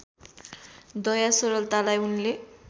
दया सरलतालाई उनले